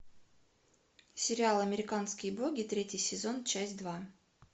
сериал американские боги третий сезон часть два